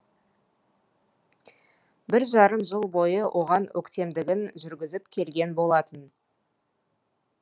бір жарым жыл бойы оған өктемдігін жүргізіп келген болатын